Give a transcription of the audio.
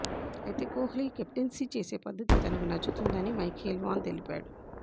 అయితే కోహ్లీ కెప్టెన్సీ చేసే పద్ధతి తనకు నచ్చుతుందని మైఖేల్ వాన్ తెలిపాడు